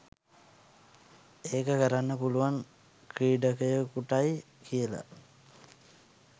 ඒක කරන්න පුළුවන් ක්‍රීඩකයකුටයි කියලා